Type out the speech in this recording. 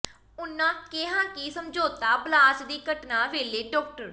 ਉਨ੍ਹਾਂ ਕਿਹਾ ਕਿ ਸਮਝੌਤਾ ਬਲਾਸਟ ਦੀ ਘਟਨਾ ਵੇਲੇ ਡਾ